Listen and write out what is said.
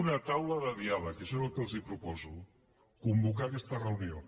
una taula de diàleg això és el que els proposo convocar aquesta reunió